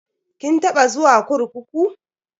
Kin taba zuwa kurkuku?